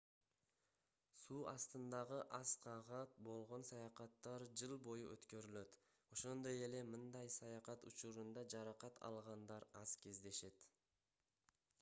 суу астындагы аскага болгон саякаттар жыл бою өткөрүлөт ошондой эле мындай саякат учурунда жаракат алгандар аз кездешет